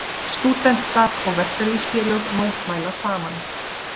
Stúdentar og verkalýðsfélög mótmæla saman